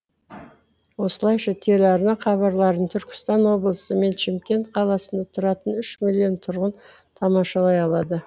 осылайша телеарна хабарларын түркістан облысы мен шымкент қаласында тұратын үш миллион тұрғын тамашалай алады